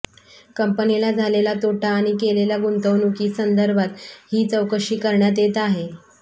कंपनीला झालेला तोटा आणि केलेल्या गुंतवणुकी संदर्भात हि चौकशी करण्यात येत आहे